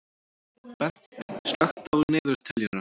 Bent, slökktu á niðurteljaranum.